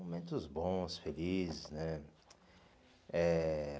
Momentos bons, felizes, né? Eh